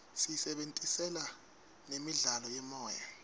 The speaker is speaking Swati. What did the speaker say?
siyisebentisela nemidlalo yemoya